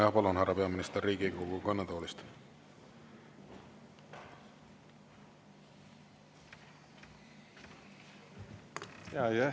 Jah, palun, härra peaminister, Riigikogu kõnetoolist!